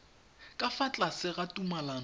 ka fa tlase ga tumalano